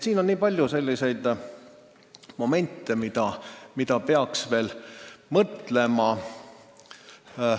Siin on nii palju selliseid momente, mille üle peaks veel mõtlema.